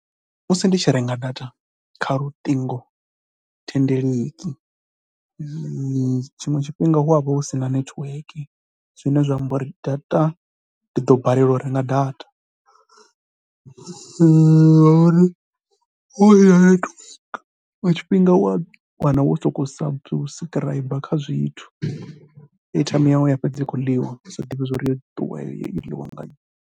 Musi ndi tshi renga data kha luṱingothendeleki tshiṅwe tshifhinga hu ya vha hu si na netiweke zwine zwa amba uri data ndi ḓo mbalelwa u renga data ngauri wa vhuya wa tou pfhuka tshifhinga u ya wana wo sokou suscriber kha zwiṅwe zwithu. Airtime yau ya fhedza i tshi khou ḽiwa u sa ḓivhi uri yo ḽiwa nga nnyi.